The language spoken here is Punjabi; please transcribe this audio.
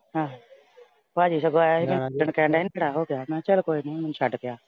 ਆਹੋ। ਭਾਜੀ ਸਗੋਂ ਆਇਆ ਸੀ। ਓਦਣ ਕਹਿੰਦਾ ਸੀ ਇਹਨੂੰ ਹੋ ਗਿਆ, ਮੈਂ ਕਿਹਾ ਚੱਲ ਕੋਈ ਨਈਂ ਮੈਨੂੰ ਛੱਡ ਕੇ ਆ।